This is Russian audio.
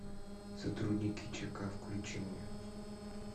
сотрудники чека включи мне